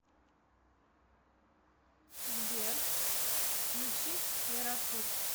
сбер включить эрасур